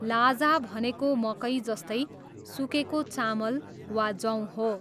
लाजा भनेको मकै जस्तै सुकेको चामल वा जौ हो।